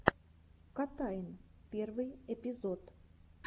котайн первый эпизод